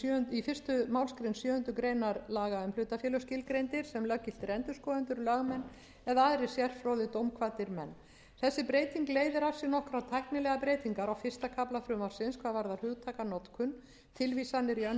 í fyrstu málsgrein sjöundu grein laga um hlutafélög skilgreindir sem löggiltir endurskoðendur lögmenn eða aðrir sérfróðir dómkvaddir menn þessi breyting leiðir af sér nokkrar tæknilegar breytingar á fyrsta kafla frumvarpsins hvað varðar hugtakanotkun tilvísanir í önnur